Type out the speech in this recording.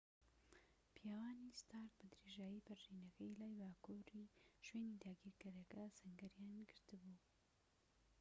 پیاوانی ستارک بە درێژایی پەرژینەکەی لای باکووری شوێنی داگیرکەرەکە سەنگەریان گرت بوو